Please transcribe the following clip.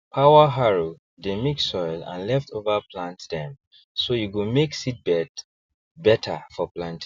power harrow dey mix soil and leftover plant dem so e go make seedbed better for planting